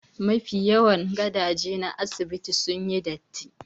Mafi yawan gadaje na asibitin sun yi datti